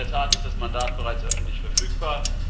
In der Tat ist das Mandat bereits öffentlich verfügbar.